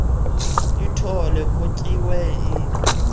ithole kutyiwe iona